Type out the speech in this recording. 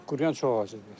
Quruyan çox ağac idi.